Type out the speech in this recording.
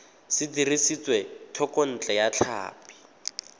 se dirisitswe thekontle ya tlhapi